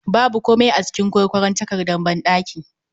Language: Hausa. Babu komai a jikin Kwarkwaron takardar banɗaki